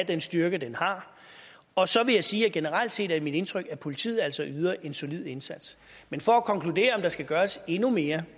den styrke den har og så vil jeg sige at det generelt set er mit indtryk at politiet altså yder en solid indsats men for at konkludere om der skal gøres endnu mere